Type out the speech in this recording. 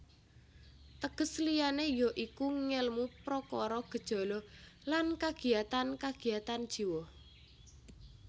Teges liyané ya iku ngèlmu prakara gejala lan kagiatan kagiatan jiwa